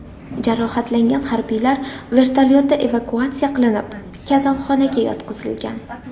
Jarohatlangan harbiylar vertolyotda evakuatsiya qilinib, kasalxonaga yotqizilgan.